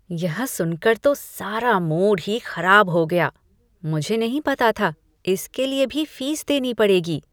यह सुनकर तो सारा मूड ही खराब हो गया। मुझे नहीं पता था, इसके लिए भी फीस देनी पड़ेगी।